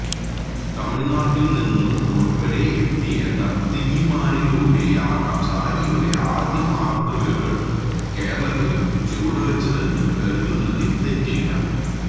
തമിഴ്നാട്ടിൽനിന്നുൾപ്പെടെയെത്തിയ നർത്തകിമാരിലൂടെയാകാം സാരിയുടെ ആദ്യമാതൃകകൾ കേരളത്തിലും ചുവടുവച്ചതെന്നു കരുതുന്നതിൽ തെറ്റില്ല